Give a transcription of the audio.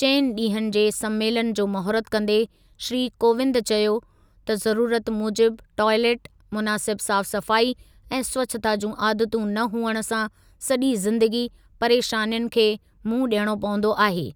चइनि ॾींहनि जे संमेलनु जो महूरतु कंदे श्री कोविंद चयो त ज़रुरत मूजिबि टोइलेट, मुनासिब साफ़ सफ़ाई ऐं स्वच्छता जूं आदतूं न हुअण सां सॼी ज़िंदगी परेशानियुनि खे मुंहुं ॾियणो पवंदो आहे।